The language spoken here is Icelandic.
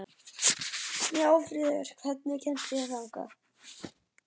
Snjáfríður, hvernig kemst ég þangað?